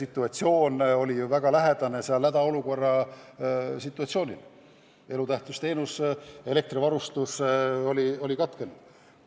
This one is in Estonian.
situatsioon oli väga lähedane hädaolukorra situatsioonile: elutähtis teenus, elektrivarustus oli katkenud.